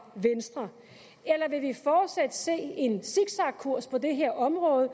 venstre eller vil vi fortsat se en zigzagkurs på det her område